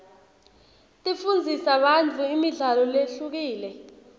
tifundzisa bantfu imidlalo lehlukile